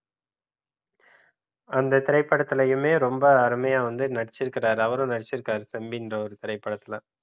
அந்த திரைப்படத்திலையுமே ரொம்ப அருமையா வந்து நட்டுச்சிருக்காரு அவரும் நடிச்சிருக்காரு செம்மீன் என்ற ஒரு திரைப்படத்துல